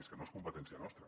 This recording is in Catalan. és que no és competència nostra